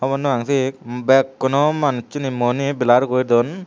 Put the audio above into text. hobor nopang siye bekkuno manusuni muiani blur gori dun.